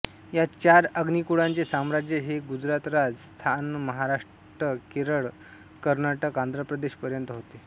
यात चार अग्निकुळाचे साम्राज्य हे गुजरातराजस्थानमहाराष्ट्रकेरळकर्नाटकआंध्रप्रदेश पर्यंत होते